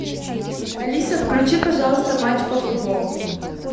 алиса включи пожалуйста матч по футболу